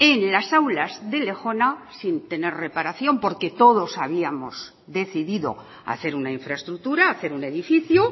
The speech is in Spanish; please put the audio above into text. en las aulas de lejona sin tener reparación porque todos habíamos decidido hacer una infraestructura hacer un edificio